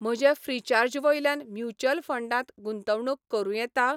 म्हज्या ऴ्रीचार्ज वयल्यान म्युच्युअल फंडांत गुंतवणूक करूं येता?